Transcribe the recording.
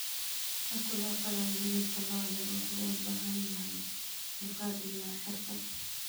Habka loo qalayo hilibka lo'da wuxuu u baahan yahay dulqaad iyo xirfad.